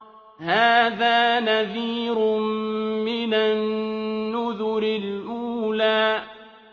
هَٰذَا نَذِيرٌ مِّنَ النُّذُرِ الْأُولَىٰ